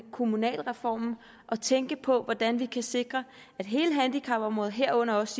kommunalreformen at tænke på hvordan vi kan sikre hele handicapområdet herunder også